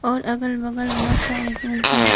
और अगल बगल बहोत सारे रूम है।